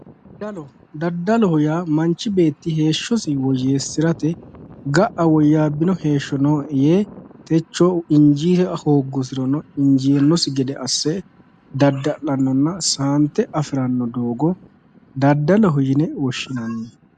Daddaloho yaa manchi beetti heeshshosi woyyeessirate ga'a woyyaabbino heeshsho nooe yee techo injaa hooggusirono injaannosi gede asse dadda'lannonna saante afiranno doogo daddaloho yine woshshinanni